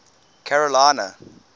carolina